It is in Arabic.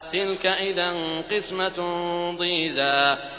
تِلْكَ إِذًا قِسْمَةٌ ضِيزَىٰ